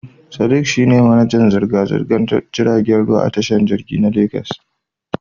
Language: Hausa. Sadiq shi ne manajan zirga-zirgar jiragen ruwa a tashar tashar jirgin ruwa ta Legas.